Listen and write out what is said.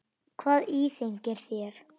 Hvað íþyngir þér?